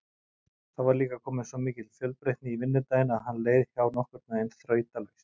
Þá var líka komin svo mikil fjölbreytni í vinnudaginn að hann leið hjá nokkurnveginn þrautalaust.